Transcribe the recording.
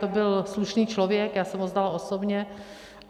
To byl slušný člověk, já jsem ho znala osobně.